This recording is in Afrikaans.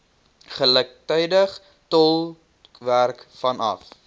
gelyktydige tolkwerk vanaf